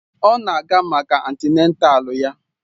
Ọ na-aga maka antịnátál ya